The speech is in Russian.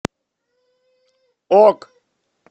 ок